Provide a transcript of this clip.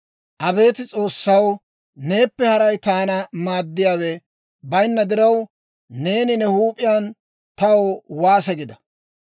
«Abeet S'oossaw, neeppe haray taana maaddiyaawe bayinna diraw, neeni ne huup'iyaan taw waase gida.